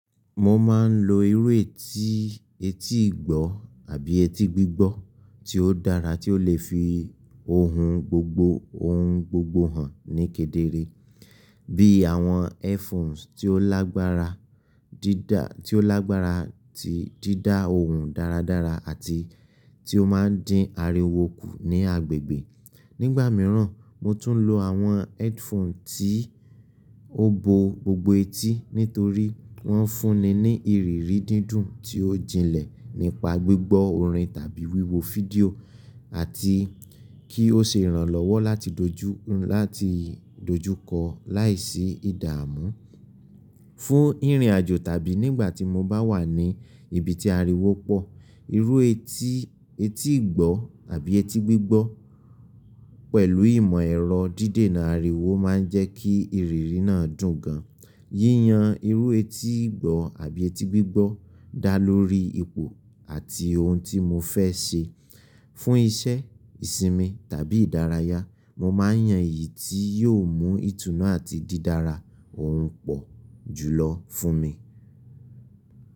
Mo máa ń lo irú etí, etí ìgbọ́ àbí etí gbígbọ́ tí ó dára tí ó le fi ohun gbogbo, ohun gbogbo hàn ní kedere. Bí àwọn headphones tí ó lágbára, dídá, tí ó lágbára tí dídá ohùn dáradára àti tí ó máa ń dín ariwo kù ní agbègbè. Nígbà mìíràn mo tún lo àwọn headphone tí ó bo gbogbo etí nítorí wọ́n fúnni ní ìrírí dídùn tí ó jinlẹ̀ nípa gbígbọ́ orin tàbí wíwo fídíò àti kí ó ṣe ìrànlọ́wọ́ láti dojú, láti dojúkọ láìsí ìdààmú. Fún ìrìnàjò tàbí nígbà tí mo bá wà ní ibi tí ariwo pọ̀, irú etí, etí ìgbọ́ àbí etí gbígbọ́ pẹ̀lú ìmọ̀ ẹ̀rọ dídènà ariwo máa ń jẹ́ kí ìrírí náà dùn gan. Yíyan irú etí ìgbọ́ àbí etí gbígbọ́ dá lórí ipò àti ohun tí mo fẹ́ ṣe. Fún iṣẹ́, ìsinmi tàbí ìdárayá, mo máa yan èyí tí yóò mú ìtùnú àti dídára ohùn pọ̀ jùlọ fún mi.